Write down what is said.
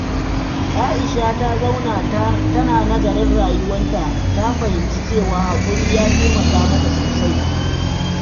Aisha ta zauna tana nazarin rayuwarta, ta fahimci cewa haƙuri ya taimaka mata sosai.